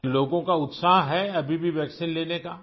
لوگوں کا جوش ہے، ابھی بھی ویکسین لینے کا؟